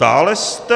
Dále jste...